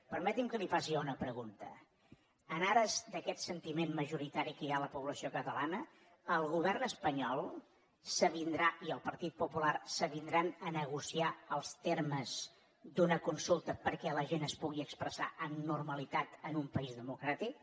permeti’m que li faci jo una pregunta en ares d’aquest sentiment majoritari que hi ha a la població catalana el govern espanyol i el partit popular s’avindran a negociar els termes d’una consulta perquè la gent es pugui expressar amb normalitat en un país democràtic